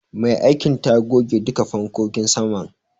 Mai aikin ta goge duka fankokin saman.